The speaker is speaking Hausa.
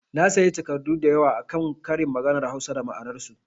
Na sayi takardu da yawa akan ƙarin maganar Hausa da ma'anar su